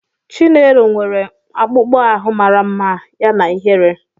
Chinelo nwere akpụkpọ ahụ mara mma yana ihere.